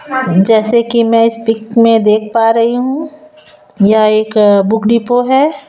जैसे कि मैं इस पिक में देख पा रही हूं यह एक बुक डिपो है।